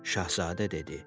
Şahzadə dedi.